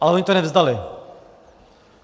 Ale oni to nevzdali.